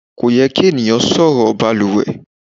Kò yẹ kí ènìyàn sọ̀rọ̀ baluwẹ̀.